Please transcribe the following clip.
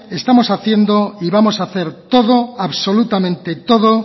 estamos haciendo y vamos a hacer todo absolutamente todo